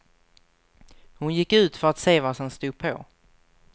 Hon gick ut för att se vad som stod på.